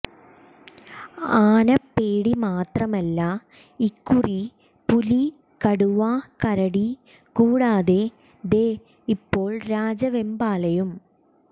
ആനപ്പേടി മാത്രമല്ല ഇക്കുറി പുലി കടുവ കരടി കൂടാതെ ദേ ഇപ്പോൾ രാജവെമ്പാലയും